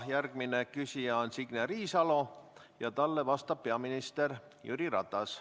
Järgmine küsija on Signe Riisalo ja talle vastab peaminister Jüri Ratas.